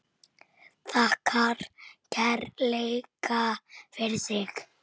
Þakkar kærlega fyrir sig.